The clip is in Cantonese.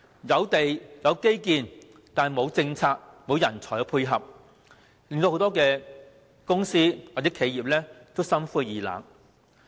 有地、有基建卻沒有政策及人才配合，以致很多公司或企業感到心灰意冷。